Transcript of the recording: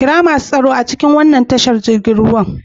Kira masu tsaro a cikin waɗannan tashar jiragen ruwa.